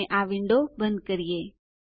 અને આ વિન્ડો બંધ કરીએ